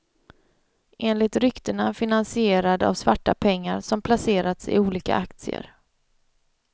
Enligt ryktena finansierad av svarta pengar som placerats i olika aktier.